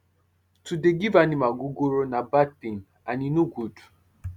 to dey give animal ogogoro na bad tin and e no good